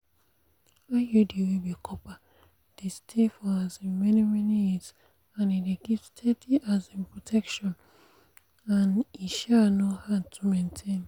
iud wey be copper dey stay for um many-many years and e dey give steady um protection and e um no hard to maintain.